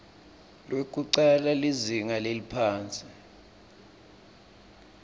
lwekucala lizinga leliphasi